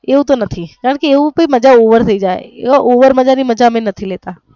એવું તો નથી કારણકે એવું તો માજા over થઈ જય over મજા ની મજા અમે નથી લેતા.